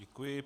Děkuji.